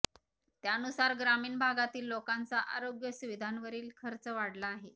त्यानुसार ग्रामीण भागातील लोकांचा आरोग्य सुविधांवरील खर्च वाढला आहे